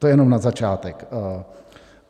To jenom na začátek.